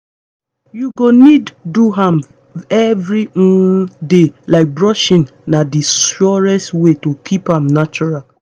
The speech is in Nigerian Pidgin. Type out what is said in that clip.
you go need do am every um day like brushing na the surest way to keep am natural